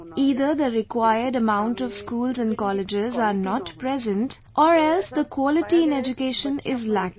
Either the required amount of schools and colleges are not there or else the quality in education is lacking